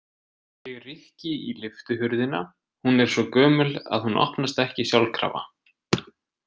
Ég rykki í lyftuhurðina, hún er svo gömul að hún opnast ekki sjálfkrafa.